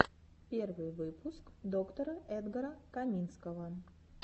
первый выпуск доктора эдгара каминского